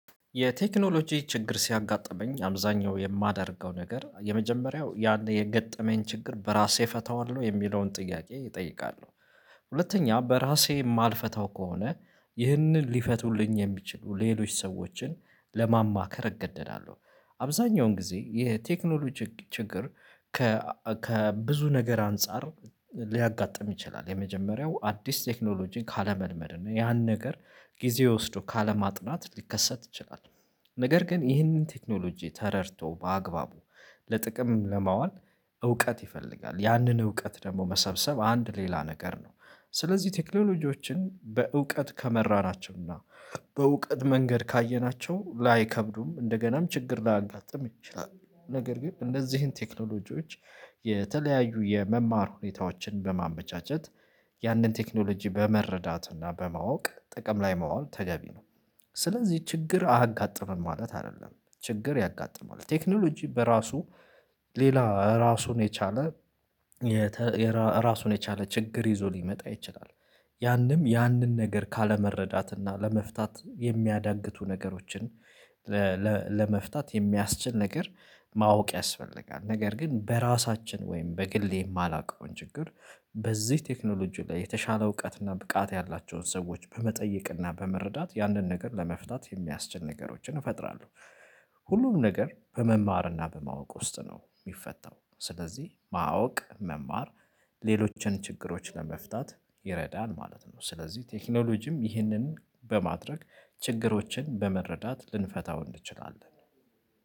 የቴክኖሎጂ ችግር ሲያጋጥመኝ አብዛኛው የማደርገው ነገር የመጀመሪያው ያን የገጠመኝ ችግር በራሴ እፈታዋለሁ የሚለውን ጥያቄ እጠይቃለሁ። ሁለተኛ በራሴ የማልፈታው ከሆነ ይህንን ሊፈቱልኝ የሚችሉ ሌሎች ሰዎችን ለማማከር እገደዳለሁ። አብዛኛውን ጊዜ የቴክኖሎጂ ችግር። ከብዙ ነገር አንፃር ሊያጋጥም ይችላል የመጀመሪያው አዲስ ቴክኖሎጂን ካለመልመድ ነው ያን ነገር ጊዜ ወስዶ ካለማጥናት ሊከሰት ይችላል። ነገር ግን ይህንን ቴክኖሎጂ ተረድቶ በአግባቡ ለጥቅም ለማዋል እውቀት ይፈልጋል ያንን እውቀት ደግሞ መሰብሰብ አንድ ሌላ ነገር ነው። ስለዚህ ቴክኖሎጂዎችን በእውቀት ከመራናቸው እና በእውቀት መንገድ ካየናቸው ላይከብዱም እንደገናም ችግር ላያጋጥም ይችላል። ነገር ግን እነዚህን ቴክኖሎጂዎች የተለያዩ የመማር ሁኔታዎችን በማመቻቸት ያንን ቴክኖሎጂ በመረዳትና በማወቅ ጥቅም ላይ ማዋል ተገቢ ነው። ስለዚህ ችግር አጋጥመም ማለት አይደለም። ችግር ያጋጥማል ቴክኖሎጂ በራሱ ሌላ ራሱን የቻለ የራሱን የቻለ ችግር ይዞ ሊመጣ ይችላል። ያንም ያንን ነገር ካለመረዳት እና ለመፍታት የሚያዳግቱ ነገሮችን። ለመፍታት የሚያስችል ነገር ማወቅ ያስፈልጋል። ነገር ግን በራሳችን ወይም በግሌ የማላውቀውን ችግር በዚህ ቴክኖሎጂ ላይ የተሻለ እውቀት እና ብቃት ያላቸውን ሰዎች በመጠየቅ እና በመረዳት ያንን ነገር ለመፍታት የሚያስችል ነገሮችን እፈጥራለሁ። ሁሉም ነገር በመማርና በማወቅ ውስጥ ነው ሚፈታው። ስለዚህ ማወቅ መማር ሌሎችን ችግሮች ለመፍታት ይረዳል ማለት ነው። ስለዚህ ቴክኖሎጂም ይህንን በማድረግ ችግሮችን በመረዳት ልንፈታው እንችላለን።